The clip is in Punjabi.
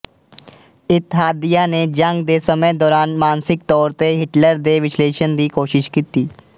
ਇਤਹਾਦੀਆਂ ਨੇ ਜੰਗ ਦੇ ਸਮੇਂ ਦੌਰਾਨ ਮਾਨਸਿਕ ਤੌਰ ਤੇ ਹਿਟਲਰ ਦੇ ਵਿਸ਼ਲੇਸ਼ਣ ਦੀ ਕੋਸ਼ਿਸ਼ ਕੀਤੀ